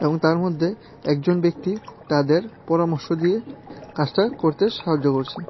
এবং তার মধ্যে একজন ব্যক্তি তাদের পরামর্শ দিয়ে কাজটা করতে সাহায্য করছে।